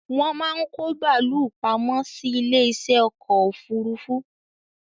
Wón máa ń kó bàálù pamọ́ sí ilé isẹ́ ọkọ̀ òfúrúúfú